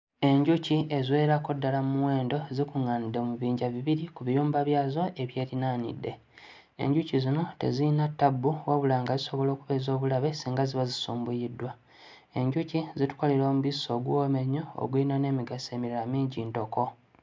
Enjuki eziwererako ddala mu muwendo zikuŋŋaanidde mu bibinja bibiri, ku biyumba byazo ebyerinaanidde. Enjuki zino teziyina ttabbu wabula nga zisobola okuba ez'obulabe singa ziba zisumbuyiddwa. Enjuki zitukolera omubisi oguwooma ennyo, oguyina n'emigaso emirala mingi ntoko.